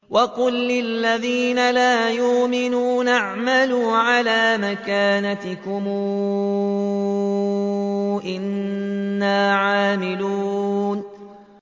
وَقُل لِّلَّذِينَ لَا يُؤْمِنُونَ اعْمَلُوا عَلَىٰ مَكَانَتِكُمْ إِنَّا عَامِلُونَ